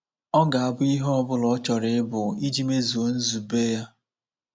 Ọ ga abụ ihe ọ bụla ọ chọrọ ịbụ iji mezuo nzube ya.